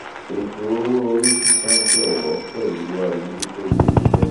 ètò owó orí sísan jọwọ pẹlú àmójútó ilé iṣẹ